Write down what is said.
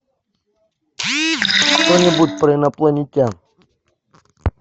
что нибудь про инопланетян